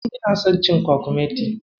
Ina son cin kwakumeti.